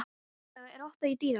Heiðlaug, er opið í Dýralandi?